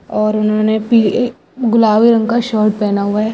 और उन्होंने पीली-गुलबी रंग का शर्ट पहना हुआ है।